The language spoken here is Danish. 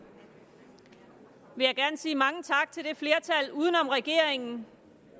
vil jeg gerne sige mange tak til flertallet uden om regeringen